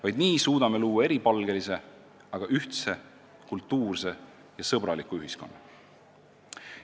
Vaid nii suudame luua eripalgelise, aga ühtse kultuurse ja sõbraliku ühiskonna.